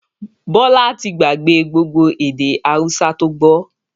Bọlá tí gbà gbé gbogbo èdè Hausa to gbọ́